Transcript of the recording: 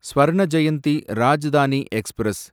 Swarna Jayanti Rajdhani express